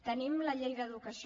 tenim la llei d’educació